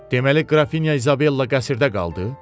Deməli qrafinya İzabella qəsrdə qaldı?